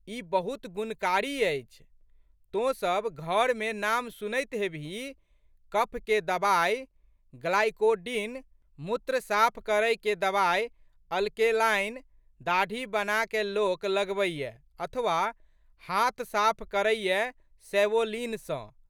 ई बहुत गुणकारी अछि। तोँ सब घरमे नाम सुनैत हेबहीं कफके दबाइ, ग्लाइकोडिन, मूत्र साफ करैके दबाइ अल्केलाइन, दाढ़ी बनाकए लोक लगबैए अथवा, हाथ साफ करैए सैवोलिन सँ।